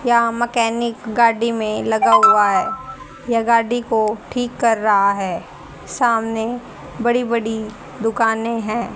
यहां मैकेनिक गाडी में लगा हुआ है यह गाडी को ठीक कर रहा है सामने बड़ी बड़ी दुकान हैं।